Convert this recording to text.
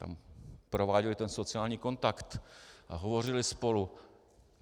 Tam prováděli ten sociální kontakt a hovořili spolu.